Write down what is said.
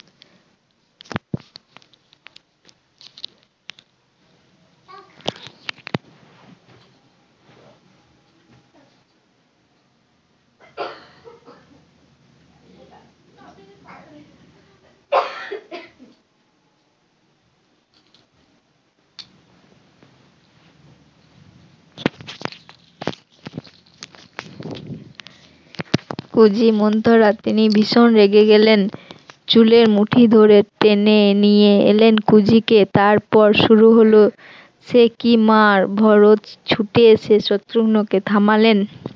কুজি মন্থরা তিনি ভিশন রেগে গেলেন, চুলের মুঠি ধরে টেনে নিয়ে এলেন কুজিকে তারপর শুরু হল সে কি মার, ভরত ছুটে এসে শত্রুগ্ন কে থামালেন